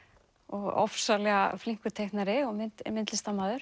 ofsalega flinkur teiknari og myndlistarmaður